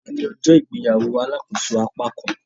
Òní ní ọjọ́ ìgbéyàwó alàkóso apákan